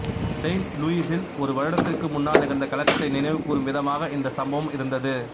saint லூயிஸில் ஒரு வருடத்திற்கு முன்னால் நிகழ்ந்த கலகத்தை நினைவுகூரும் விதமாக இந்த சம்பவம் இருந்தது